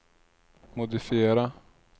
modifiera